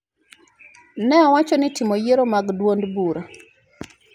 ne owacho ni timo yiero mag duond bura